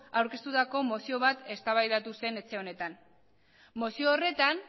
aurkeztutako mozio bat eztabaidatu zen etxe honetan mozio horretan